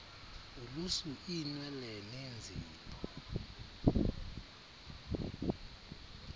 ulusu iinwele neenzipho